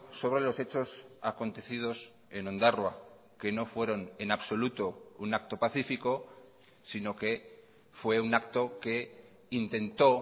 sobre los hechos acontecidos en ondarroa que no fueron en absoluto un acto pacífico sino que fue un acto que intentó